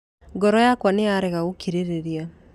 Ngoro yakwa nĩ yarega gũkirĩrĩria